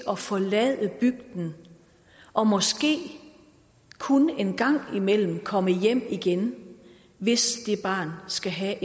at forlade bygden og måske kun engang imellem komme hjem igen hvis det barn skal have